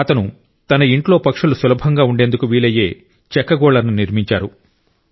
అతను తన ఇంట్లో పక్షులు సులభంగా ఉండేందుకు వీలయ్యే చెక్క గూళ్ళను నిర్మించారు